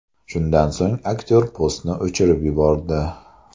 Shundan so‘ng aktyor postni o‘chirib yubordi.